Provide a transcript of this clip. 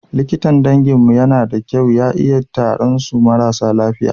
Likitan danginmu yana da kyau ya iya taran su marasa lafiya.